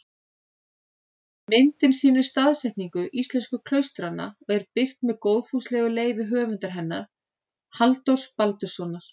Myndin sýnir staðsetningu íslensku klaustranna og er birt með góðfúslegu leyfi höfundar hennar, Halldórs Baldurssonar.